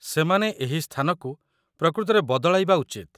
ସେମାନେ ଏହି ସ୍ଥାନକୁ ପ୍ରକୃତରେ ବଦଳାଇବା ଉଚିତ